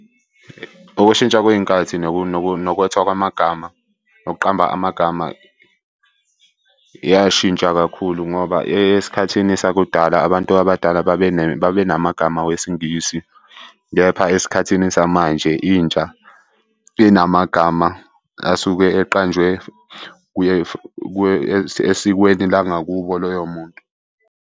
Ukushintsha kwey'nkathi nokwethiwa kwamagama nokuqamba amagama, yashintsha kakhulu ngoba esikhathini sakudala abantu abadala babenamagama wesiNgisi, kepha esikhathini samanje intsha inamagama asuke eqanjwe esikweni langakubo loyo muntu.